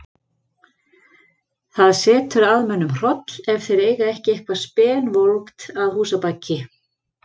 Það setur að mönnum hroll ef þeir eiga ekki eitthvað spenvolgt að húsabaki.